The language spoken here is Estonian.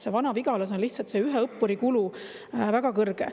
Vana-Vigalas on lihtsalt ühe õppuri kulu väga kõrge.